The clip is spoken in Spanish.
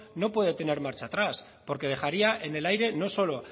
no puede tener marcha atrás porque dejaría en el aire no solo